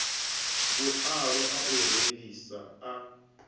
vhualo a u rengisa a